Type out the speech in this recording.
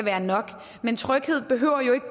er nok tryghed behøver ikke